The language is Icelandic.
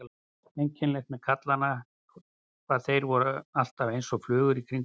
Einkennilegt með kallana hvað þeir voru alltaf einsog flugur í kringum hana.